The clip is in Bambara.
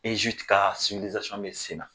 Ezipti ka bɛ sen na